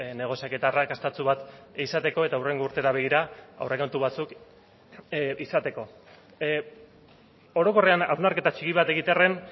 negoziaketa arrakastatsu bat izateko eta hurrengo urtera begira aurrekontu batzuk izateko orokorrean hausnarketa txiki bat egitearren